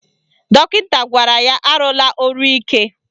Dọkịta gwara ya arụla ọrụ ike